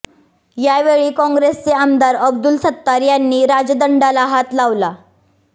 या वेळी काँग्रेसचे आमदार अब्दुल सत्तार यांनी राजदंडाला हात लावला